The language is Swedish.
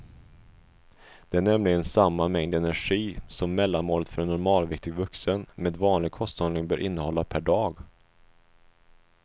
Det är nämligen samma mängd energi som mellanmålet för en normalviktig vuxen med vanlig kosthållning bör innehålla per dag.